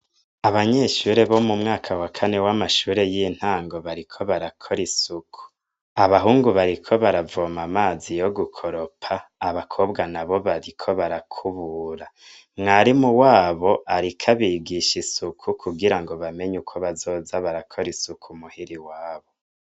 Abanyeshbo mu mwaka wa kane w'amashure y'intango bariko barakora isuku. Abahungu bariko baravoma amazi yo gukoropa, abakobwa na bo bariko barakubura. Mwarimu wabo ariko abigisha isuku, kugira ngo bamenye uko bazoza barakora isuku mu hira iwabo.